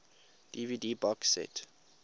dvd box set